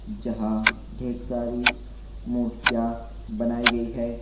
जहां ढेर सारी मूर्तियां बनाई गई है।